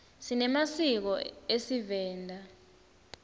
sinemasiko esivenda